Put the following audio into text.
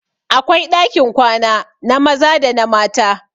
Akwai ɗakin kwana na maza da na mata